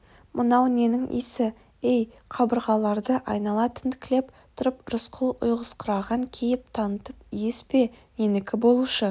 мынау ненің иісі ей қабырғаларды айнала тінткілеп тұрып рысқұл ұйқысыраған кейіп танытып иіс пе ненікі болушы